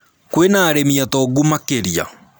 Kwĩna arĩmi atongu makĩria